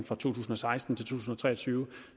fra to tusind og seksten til to tusind og tre og tyve